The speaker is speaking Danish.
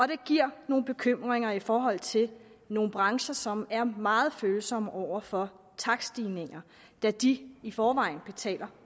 det giver nogle bekymringer i forhold til nogle brancher som er meget følsomme over for takststigninger da de i forvejen betaler